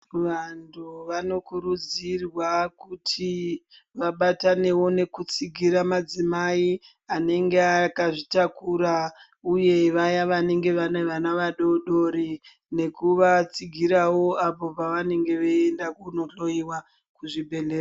Vantu vanokurudzirwa kuti vabatanewo nekutsigura madzimai anenge akazvitakura uye Vaya vanenge vane vana vadodori nekuvatsigirawo vantu Pavanenge veienda kundohloiwa kuzvibhedhlera.